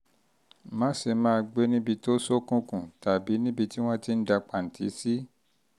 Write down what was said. má ṣe máa gbé níbi tó ṣókùnkùn tàbí níbi tí wọ́n ti ń da pàǹtì sí